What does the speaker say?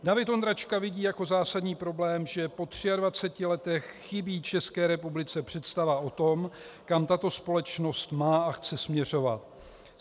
David Ondráčka vidí jako zásadní problém, že po 23 letech chybí České republice představa o tom, kam tato společnost má a chce směřovat.